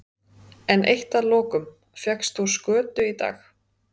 En eitt að lokum, fékkst þú skötu í dag?